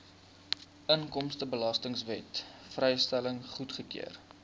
inkomstebelastingwet vrystelling goedgekeur